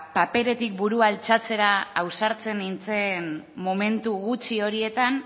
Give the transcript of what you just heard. paperetik burua altxatzera ausartzen nintzen momentu gutxi horietan